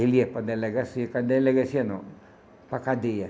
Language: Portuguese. Ele ia para a delegacia, para a delegacia não, para a cadeia.